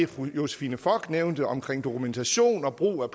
fru josephine fock nævnte omkring dokumentation og brug af